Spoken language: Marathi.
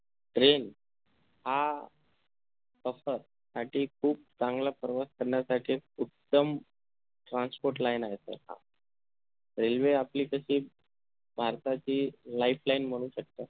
Train हा प्रवासासाठी साठी खूप चांगला प्रवास करण्यासाठी उत्तम transport line आहे sir हा Railway आपली तशी भारताची lifeline म्हणू शकता